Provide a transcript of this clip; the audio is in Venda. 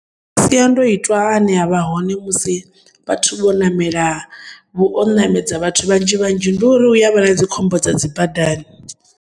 Masiandoitwa ane avha hone musi vhathu vhonamela o namedza vhathu vhanzhivhanzhi ndiuri huyavha nakhombo dza dzibadani.